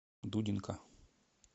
дудинка